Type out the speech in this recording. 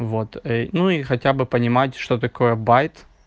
вот и ну и хотя бы понимать что такое байт